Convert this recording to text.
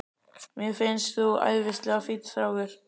Mér finnst þú æðislega fínn strákur.